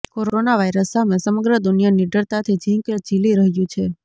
corona virus સામે સમગ્ર દુનિયા નીડરતાથી ઝીંક ઝીલી રહ્યું છે